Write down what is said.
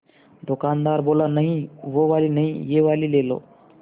दुकानदार बोला नहीं वो वाली नहीं ये वाली ले लो